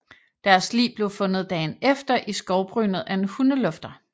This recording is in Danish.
Deres lig blev fundet dagen efter i skovbrynet af en hundelufter